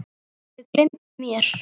Þau gleymdu mér.